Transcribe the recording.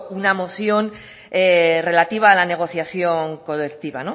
una moción relativa a la negociación colectiva